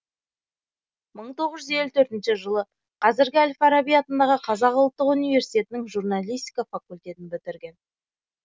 мың тоғыз жүз елу төртінші жылы қазіргі әл фараби атындағы қазақ ұлттық университетінің журналистика факультетін бітірген